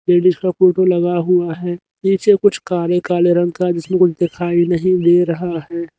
Ladies का photo लगा हुआ है नीचे कुछ काले काले रंग का जिसमें कुछ दिखाई नहीं दे रहा है।